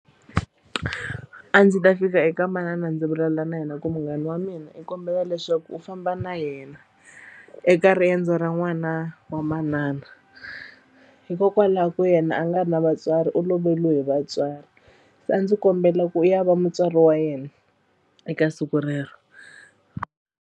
A ndzi ta fika eka manana ndzi vulavula na yena ku munghana wa mina i kombela leswaku u famba na yena eka riendzo ra n'wana wa manana hikokwalaho ku yena a nga ri na vatswari u loveriwe hi vatswari se a ndzi kombela ku ya va mutswari wa yena eka siku rero.